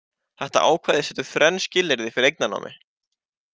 Þetta ákvæði setur þrenn skilyrði fyrir eignarnámi.